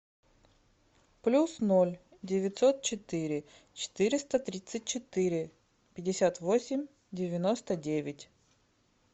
плюс ноль девятьсот четыре четыреста тридцать четыре пятьдесят восемь девяносто девять